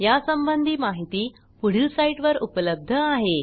यासंबंधी माहिती पुढील साईटवर उपलब्ध आहे